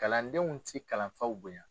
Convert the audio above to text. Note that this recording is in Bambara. Kalandenw ti kalanfaw bonya